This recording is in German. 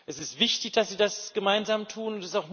Es ist wichtig, dass sie das gemeinsam tun.